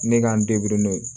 Ne k'an n'o ye